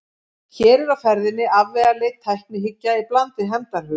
Hér er á ferðinni afvegaleidd tæknihyggja í bland við hefndarhug.